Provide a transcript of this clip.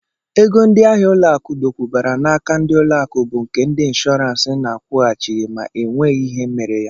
Ego ndịahịa ụlọakụ dokwubara n'aka ndị ụlọakụ bụ nke ndị nshọọransị na-akwụghachị ma e nwee ihe mere ya